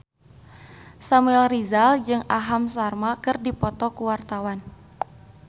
Samuel Rizal jeung Aham Sharma keur dipoto ku wartawan